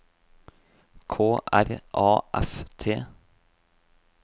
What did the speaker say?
K R A F T